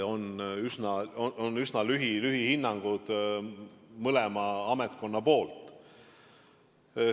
On üsna lühikesed hinnangud mõlema ametkonna poolt.